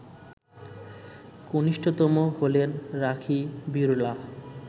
কনিষ্ঠতম হলেন রাখি বিড়লা